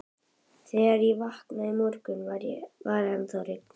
Þegar ég vaknaði í morgun, var ennþá rigning.